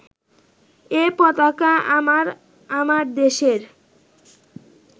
এ পতাকা আমার, আমার দেশের